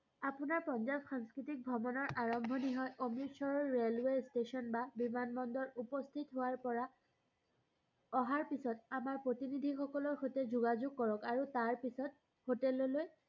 আপোনাৰ পঞ্জাৱ সাংস্কৃতিক ভ্ৰমণৰ আৰম্ভনি হয় অমৃতসৰৰ ৰেলৱে ষ্টেচন বা বিমান বন্দৰ উপস্থিত হোৱাৰ পৰা অহাৰ পিছত আমাৰ প্ৰতিনিধি সকলৰ সৈতে যোগাযোগ কৰক আৰু তাৰ পিছত হোটেললৈ